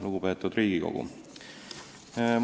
Lugupeetud Riigikogu!